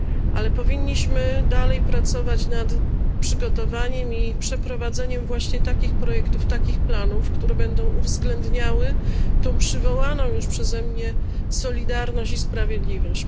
Ale powinniśmy dalej pracować nad przygotowaniem i przeprowadzeniem właśnie takich projektów, takich planów, które będą uwzględniały tę przywołaną już przeze mnie solidarność i sprawiedliwość.